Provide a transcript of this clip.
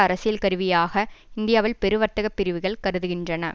அரசியல் கருவியாக இந்தியாவில் பெரு வர்த்தக பிரிவுகள் கருதுகின்றன